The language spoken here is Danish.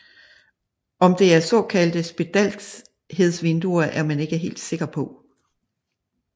Om det er såkaldte spedalskhedsvinduer er man ikke sikker på